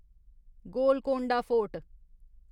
Golconda fort